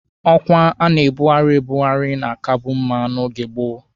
Ọkwa a na-ebughari ebughari na-akabu mma n'oge gboo